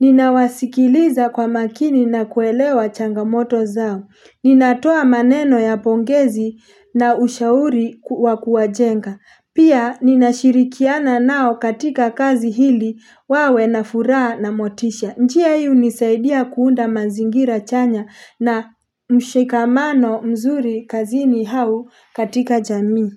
ninawasikiliza kwa makini na kuelewa changamoto zao. Ninatoa maneno ya pongezi na ushauri wakuwa jenga. Pia, ninashirikiana nao katika kazi hili wawe na furaha na motisha. Njia hii hunisaidia kuunda mazingira chanya na mshikamano mzuri kazini au katika jamii.